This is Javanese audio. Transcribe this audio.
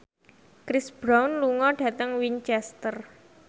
Chris Brown lunga dhateng Winchester